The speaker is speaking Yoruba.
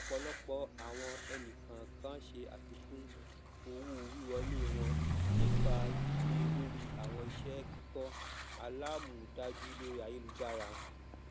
ọpọlọpọ awọn ẹnikọọkan ṣe afikun owowiwọle wọn nipa gbigbe lori awọn iṣẹ kikọ alamọdaju lori ayelujara